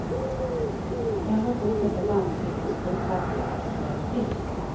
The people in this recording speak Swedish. Ändå fortsätter landsbygdens utfattiga att strömma till.